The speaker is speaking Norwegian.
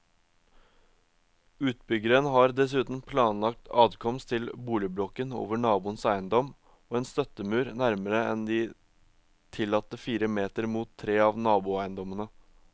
Utbyggeren har dessuten planlagt adkomst til boligblokken over naboens eiendom og en støttemur nærmere enn de tillatte fire meter mot tre av naboeiendommene.